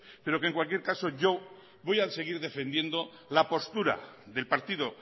pero que en cualquier caso yo voy a seguir defendiendo la postura del partido